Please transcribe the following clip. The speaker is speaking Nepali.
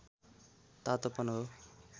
तातोपन हो